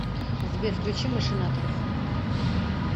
сбер включи машинаторов